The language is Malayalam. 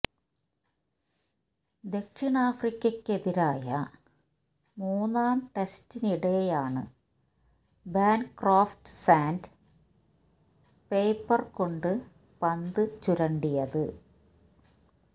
ദക്ഷിണാഫ്രിക്കയ്ക്കെതിരായ മൂന്നാം ടെസ്റ്റിനിടെയാണ് ബാന്ക്രോഫ്റ്റ് സാന്റ് പേപ്പര് കൊണ്ട് പന്ത് ചുരണ്ടിയത്